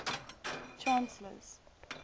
chancellors